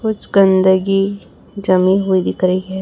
कुछ गंदगी जमी हुई दिख रही है।